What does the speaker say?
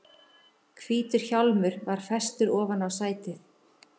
Hvítur hjálmur var festur ofan á sætið.